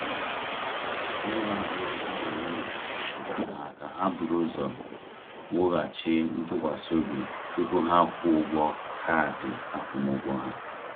Onye na-agwọ di na nwunye gwara ha ka ha buru ụzọ wughachi ntụkwasị obi tupu ha kwụọ ụgwọ kaadị akwụmụgwọ ha.